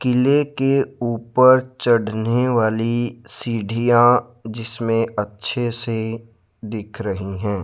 किले के ऊपर चढ़ने वाली सीढ़ियां जिसमें अच्छे से दिख रही है।